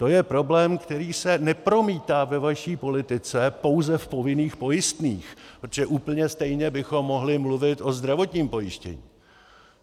To je problém, který se nepromítá ve vaší politice pouze v povinných pojistných, protože úplně stejně bychom mohli mluvit o zdravotním pojištění.